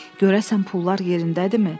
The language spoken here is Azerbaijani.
Görəsən pullar yerindədirmi?